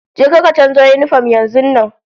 Je ka ka canzo yinifom yanzun nan!